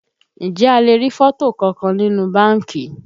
Ǹjẹ́ a lè rí fọ́tò kankan nínú báńkì?